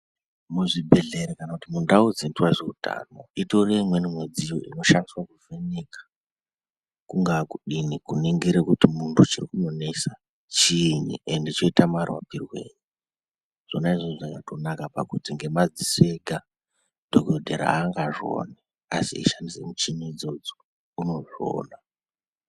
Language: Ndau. Muzvibhedhlera kana mundau dzinoitwa ngezveutano itoriyo imweni mudziyo inoshandiswa kuvheneka kungaa kudini kuningire kuti muntu chiri kumunesa chiini ende choita marapirwei zvona izvozvo zvakatonaka ngenyaya yekuti ngemadziso ega dhokodhera aangazvioni asi eishandise muchini idzodzo unozviona.